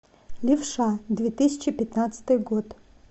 левша две тысячи пятнадцатый год